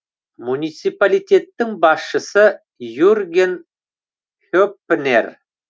муниципалитеттің басшысы юрген хеппнер